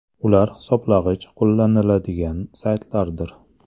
Ular hisoblagich qo‘llaniladigan saytlardir.